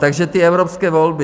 Takže ty evropské volby.